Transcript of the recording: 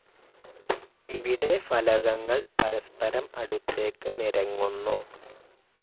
ഇവിടെ ഫലകങ്ങൾ പരസ്പരം അടുത്തേക്ക് നിരങ്ങുന്നു.